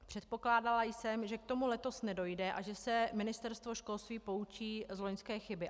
Předpokládala jsem, že k tomu letos nedojde a že se ministerstvo školství poučí z loňské chyby.